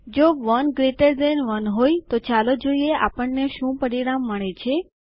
જો 1જીટી1 હોય તો ચાલો જોઈએ આપણને શું પરિણામ મળે છે